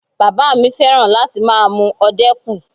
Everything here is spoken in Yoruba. Bàbá mi fẹ́ràn láti máa mu ọdẹ́kù